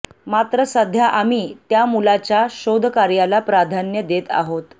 मात्र सध्या आम्ही त्या मुलाच्या शोधकार्याला प्राधान्य देत आहोत